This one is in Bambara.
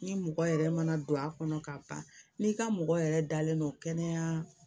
Ni mɔgɔ yɛrɛ mana don a kɔnɔ ka ban n'i ka mɔgɔ yɛrɛ dalen don kɛnɛya